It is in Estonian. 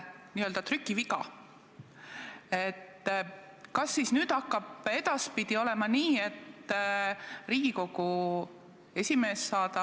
Muudatus teeb kahju nendele ettevõtetele, kes jäävad ilma pikaajalistest investeeringutest, ja teises järjekorras nendele, kes jäävad oma ettevõtlusest ilma, kellele riik on andnud lubaduse, et nad saavad neid fonde hallata, ja nad on sidunud ennast pikaajaliste lepingutega.